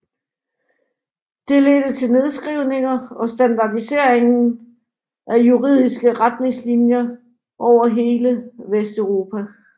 Det ledte til nedskrivningen og standardiseringen af juridiske retningslinjer over hele Vesteuropa